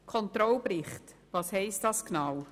Was bedeutet der Controlling-Bericht genau?